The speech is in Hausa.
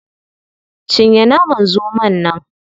Cinye naman zomon nan.